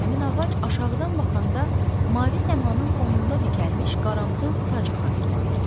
Həmin ağac aşağıdan baxanda mavi səmanın fonunda dikəlmiş qaramtıl tacı xatırladırdı.